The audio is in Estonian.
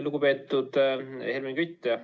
Lugupeetud Helmen Kütt!